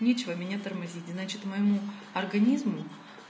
ничего меня тормозить значит моему организму